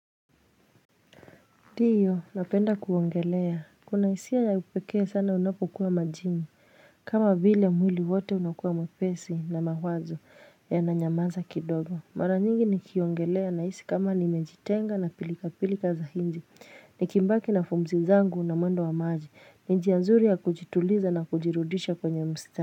Diyo napenda kuongelea kuna hisia ya upekee sana unapokuwa majini kama vile mwili wote unakuwa mwepesi na mawazo yana nyamaza kidogo, mara nyingi nikiyongelea na isi kama nimejitenga na pilika pilika za hinji ni kimbaki na fumzi zangu na mwendo wa maji, ni njia nzuri ya kujituliza na kujirudisha kwenye mstari.